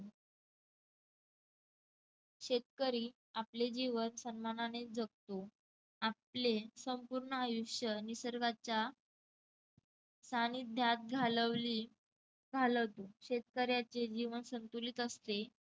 शेतकरी आपले जीवन सन्मानाने जगतो. आपले संपूर्ण आयुष्य निसर्गाच्या सानिध्यात घालवले घालवतात शेतकऱ्याचे जीवन संतुलित असते.